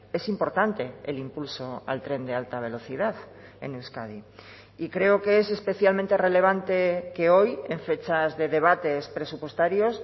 es importante el impulso al tren de alta velocidad en euskadi y creo que es especialmente relevante que hoy en fechas de debates presupuestarios